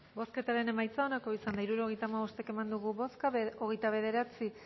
bozketaren emaitza onako izan da hirurogeita hamabost eman dugu bozka hogeita bederatzi